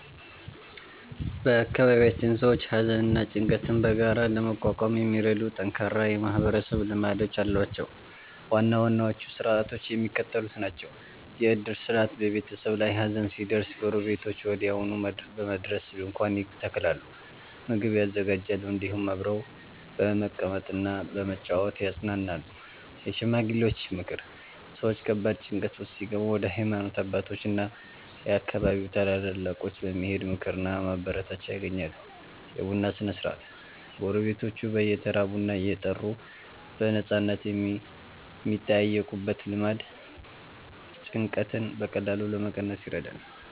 በአካባቢያችን ሰዎች ሐዘንና ጭንቀትን በጋራ ለመቋቋም የሚረዱ ጠንካራ የማህበረሰብ ልማዶች አሏቸው። ዋና ዋናዎቹ ሥርዓቶች የሚከተሉት ናቸው፦ የዕድር ሥርዓት፦ በቤተሰብ ላይ ሐዘን ሲደርስ ጎረቤቶች ወዲያውኑ በመድረስ ድንኳን ይተክላሉ፣ ምግብ ያዘጋጃሉ፤ እንዲሁም አብረው በመቀመጥና በመጨዋወት ያጽናናሉ። የሽማግሌዎች ምክር፦ ሰዎች ከባድ ጭንቀት ውስጥ ሲገቡ ወደ ሃይማኖት አባቶችና የአካባቢው ታላላቆች በመሄድ ምክርና ማበረታቻ ያገኛሉ። የቡና ሥነ-ሥርዓት፦ ጎረቤቶች በየተራ ቡና እየጠሩ በነፃነት የሚጠያየቁበት ልማድ ጭንቀትን በቀላሉ ለመቀነስ ይረዳል።